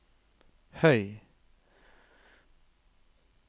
høy